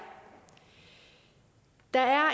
der er